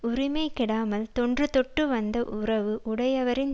உரிமை கெடாமல் தொன்று தொட்டு வந்த உறவு உடையவரின்